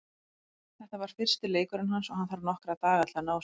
Þetta var fyrsti leikurinn hans og hann þarf nokkra daga til að ná sér.